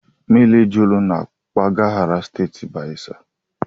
Mmiri jụrụ na mpaghara steeti Bayelsa